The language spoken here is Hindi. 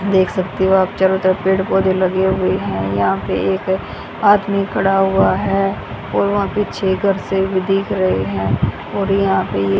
देख सकते हो आप चारों तरफ पेड़ पौधे लगे हुए हैं। यहां पे एक आदमी खड़ा हुआ है और वहां पीछे घर से भी दिख रहे हैं और यहां पे ये --